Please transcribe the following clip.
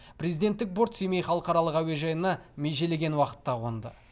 президенттік борт семей халықаралық әуежайына межелеген уақытта қонды